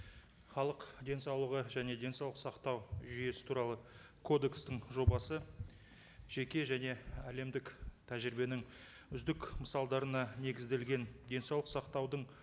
халық денсаулығы және денсаулық сақтау жүйесі туралы кодекстің жобасы жеке және әлемдік тәжірибенің үздік мысалдарына негізделген денсаулық сақтаудың